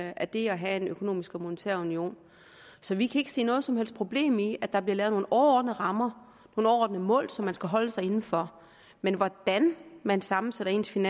af det at have en økonomisk og monetær union så vi kan ikke se noget som helst problem i at der bliver lavet nogle overordnede rammer overordnede mål som man skal holde sig inden for men hvordan man sammensætter sin